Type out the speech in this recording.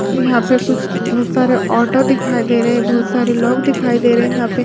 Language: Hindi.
यहाँ पे कुछ बहुत सारे ऑटो दिखाई दे रहै है बहुत सारे लोग दिखाई दे रहे है यहाँ पे--